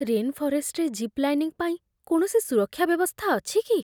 Rain ଫରେଷ୍ଟରେ zip lining ପାଇଁ କୌଣସି ସୁରକ୍ଷା ବ୍ୟବସ୍ଥା ଅଛି କି?